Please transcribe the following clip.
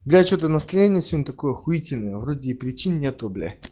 я что-то настроение сегодня такое ахуительный вроде причины нету блядь